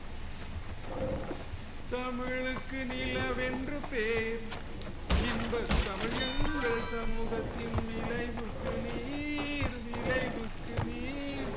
தமிழுக்கு நிலவென்று பேர் இன்பத் தமிழ் எங்கள் சமூகத்தின் விளைவுக்கு நீர் விளைவுக்கு நீர்